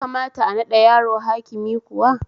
Ya kamata a naɗa yaro hakimi kuwa?